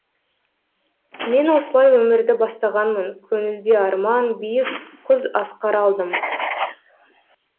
мен осылай өмірді бастағанмын көңілде арман биік құз асқар алдым